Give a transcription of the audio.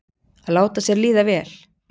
Að láta sér líða vel.